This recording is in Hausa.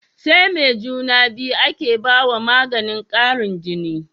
SAi me juna biyu ake bawa maganin Karin jini